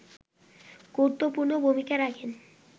গুরুত্বপূর্ণ ভূমিকা রাখেন